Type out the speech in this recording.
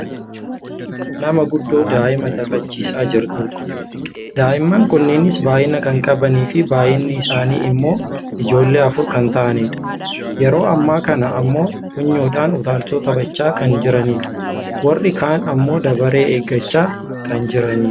Nama guddoo daa'ima taphachiisaa jirtudha. Daa'imman kunneenis baayyina kan qabaniifi baayyiinni isaanii ammoo ijoollee afur kan ta'anidha. Yeroo ammaa kana ammoo funyoodhaan utaalchoo taphachaa kan jiranidha. Warri kaan ammoo darabee eeggachaa kan jiranidha.